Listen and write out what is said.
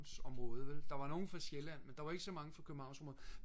området vel der var nogen fra Sjælland men der var ikke så mange fra Københavnsområdet